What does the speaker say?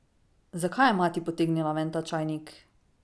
Zakaj je mati potegnila ven ta čajnik?